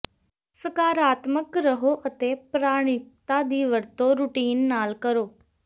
ਸਕਾਰਾਤਮਕ ਰਹੋ ਅਤੇ ਪ੍ਰਮਾਣਿਕਤਾ ਦੀ ਵਰਤੋਂ ਰੁਟੀਨ ਨਾਲ ਕਰੋ